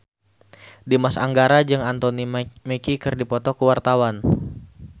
Dimas Anggara jeung Anthony Mackie keur dipoto ku wartawan